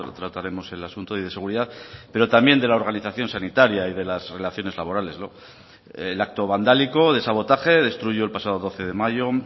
trataremos el asunto y de seguridad pero también de la organización sanitaria y de las relaciones laborales el acto vandálico de sabotaje destruyó el pasado doce de mayo